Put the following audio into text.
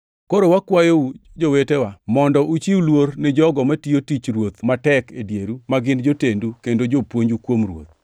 Koro wakwayou, jowetewa, mondo uchiw luor ni jogo matiyo tich Ruoth matek e dieru ma gin jotendu kendo jopuonju kuom Ruoth.